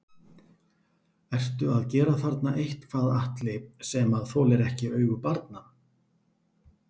Ertu að gera þarna eitthvað Atli sem að þolir ekki augu barna?